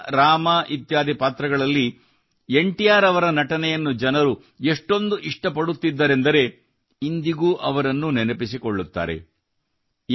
ಕೃಷ್ಣ ರಾಮ ಇತ್ಯಾದಿ ಪಾತ್ರಗಳಲ್ಲಿ N T R ಅವರ ನಟನೆಯನ್ನು ಜನರು ಎಷ್ಟೊಂದು ಇಷ್ಟ ಪಡುತ್ತಿದ್ದರೆಂದರೆ ಇಂದಿಗೂ ಅವರನ್ನು ನೆನಪಿಸಿಕೊಳ್ಳುತ್ತಾರೆ